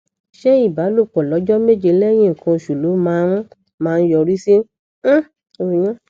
ṣé ìbálòpọ lọjọ méje lẹyìn nkan oṣù ló máa ń máa ń yọrí sí um oyún